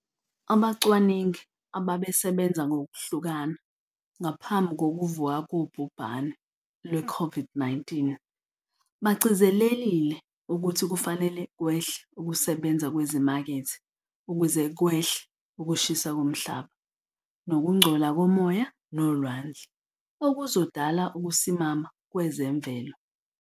Abacwaningi abebesebenza ngokuhlukana ngaphambi kokuvuka kobhubhane lwe-COVID-19, bagcizelelile ukuthi kufanele kwehle ukusebenza kwezimakethe ukuze kwehle ukushisa komhlaba, nokungcola komoya nolwandle, okuzodala ukusimama kwezemvelo.